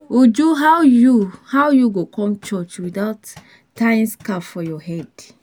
Uju how you how you go come church without tying scarf for your head?